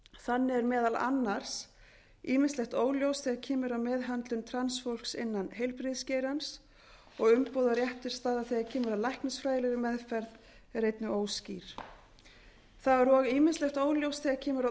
þannig er meðal annars ýmislegt óljóst þegar kemur að meðhöndlun transfólks innan heilbrigðisgeirans og umboð og réttarstaða þegar kemur að læknisfræðilegri meðferð eru einnig óskýr þá er og ýmislegt óljóst þegar kemur að